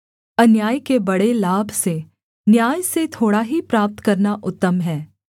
अन्याय के बड़े लाभ से न्याय से थोड़ा ही प्राप्त करना उत्तम है